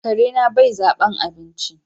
Karena bai zaben abinci.